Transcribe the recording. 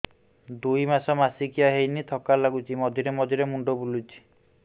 ଦୁଇ ମାସ ମାସିକିଆ ହେଇନି ଥକା ଲାଗୁଚି ମଝିରେ ମଝିରେ ମୁଣ୍ଡ ବୁଲୁଛି